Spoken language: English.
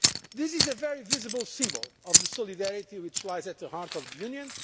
This is a very visible symbol of the solidarity which lies at the heart of the Union.